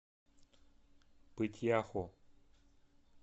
пыть яху